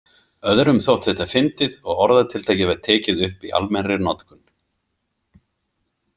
Öðrum þótti þetta fyndið og orðatiltækið var tekið upp í almennri notkun.